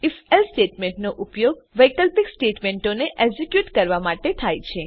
if else statement નો ઉપયોગ વૈકલ્પિક સ્ટેટમેંટોને એક્ઝેક્યુટ કરવા માટે થાય છે